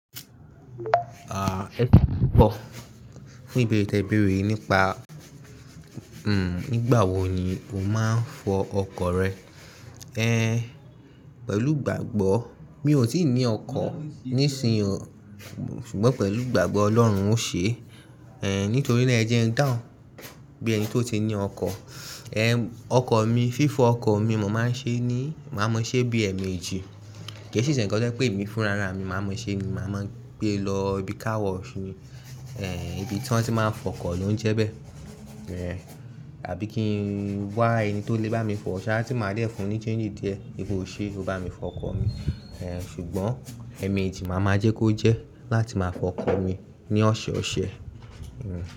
À, ẹkọ pọ̀. Fún ìbéèrè tí ẹ béèrè nípa, hmm, nígbà wo ni o máa ń fọ ọkọ̀ rẹ. Eh, pẹ̀lú ìgbàgbọ́ mi ò tíì ní ọkọ̀ ní ìsìn yìí, ṣùgbọ́n pẹ̀lú ìgbàgbọ́ Ọlọ́run ó ṣe. Eh, nítorí náà ẹ jẹ́ ń dáhùn bí ẹni tó ti ní ọkọ̀. Eh, ọkọ̀ mi, fífo ọkọ̀ mi mo máa ń ṣe ní, màá mọṣẹ́ bí i ee meji. Kée si sí nnkan tọjẹ pé emi fún ara mi, màá maa ṣẹ́ ni, màá máa gbé e lọ ibi Car wash ni, eh, ibi tí wọ́n ti máa ń fọ ọkọ̀ ló ń jẹ́ bẹ́ẹ̀. Eh, àbí kí n wá ẹni tó lè bá mi fọ ṣa, ti máa dẹ̀ fún un ní change díẹ̀, wípe oṣe o bá mi fọ ọkọ̀ mi. Eh, ṣùgbọ́n emejip màá máa jẹ́ kó jẹ́ láti máa fọ ọkọ̀ mi ní ọ̀ṣẹ̀ ọ̀ṣẹ̀.